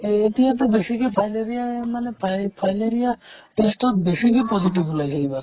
এতিয়াতো বেছিকৈ fileria মানে ফাই fileria test ত বেছিকৈ positive উলাইছে কিবা